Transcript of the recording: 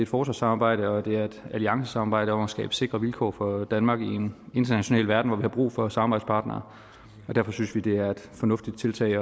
forsvarssamarbejde og det er et alliancesamarbejde om at skabe sikre vilkår for danmark i en international verden hvor vi har brug for samarbejdspartnere derfor synes vi det er et fornuftigt tiltag at